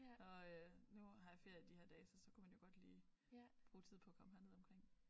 Og øh nu har jeg ferie de her dage så så kunne man jo godt lige bruge tid på at komme herned omkring